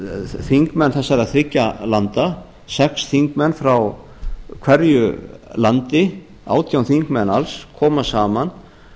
þingmenn þessara þriggja landa sex þingmenn frá hverju landi átján þingmenn alls koma saman